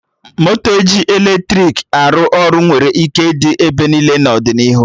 Moto ji eletrik aey ọrụ nwere ike ịdị ebe niile n'ọdịnihu